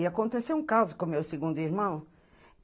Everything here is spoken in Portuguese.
E aconteceu um caso com o meu segundo irmão.